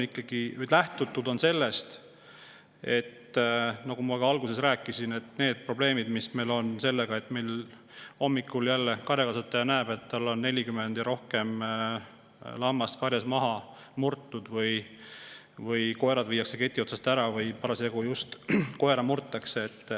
Lähtutud on ikkagi, nagu ma alguses rääkisin, neist probleemidest, mis meil on, kui hommikul karjakasvataja näeb, et tal on rohkem kui 40 lammast karjast maha murtud või koerad on keti otsast ära viidud või just parasjagu koera murtakse.